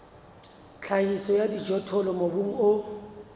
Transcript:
tlhahiso ya dijothollo mobung o